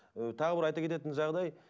ы тағы бір айта кететін жағдай